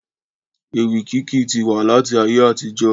Ewì kíké ti wà láti ayé àtijọ́